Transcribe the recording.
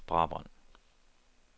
Brabrand